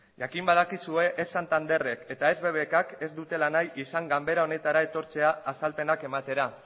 jakin badakizue ez santanderrek eta ez bbkk ez dutela nahi izan ganbera honetara etortzea azalpenak ematera